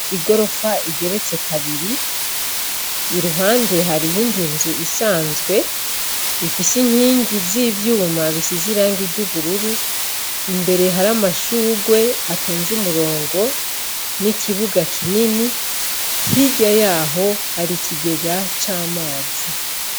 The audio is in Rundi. Igorofa igeretse kabiri i ruhande hari iyindi nzu isanzwe ifise inkingi z'ivyuma bisi ziranga iry'ubururu imbere hari amashurwe atonze umurongo n'ikibuga kinini hirya yaho hari ikigega c'amazi.